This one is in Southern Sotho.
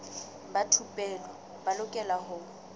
ba thupelo ba lokela ho